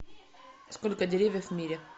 сколько деревьев в мире